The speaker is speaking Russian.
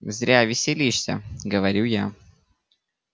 зря веселишься говорю я